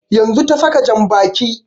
Yanzun ta saka jan baƙi